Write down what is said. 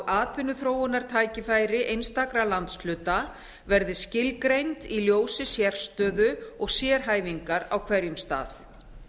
atvinnuþróunartækifæri einstakra landshluta verði skilgreind í ljósi sérstöðu og sérhæfingar á hverjum stað